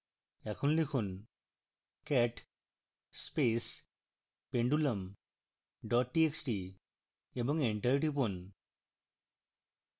এখন লিখুন cat space pendulum dot txt এবং enter টিপুন